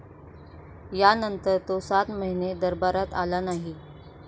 यानंतर तो सात महिने दरबारात आला नाही.